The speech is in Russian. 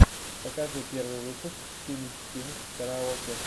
покажи первый выпуск синг кинг караоке